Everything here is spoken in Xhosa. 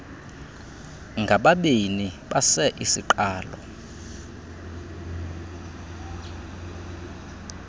ngababini basei siqalo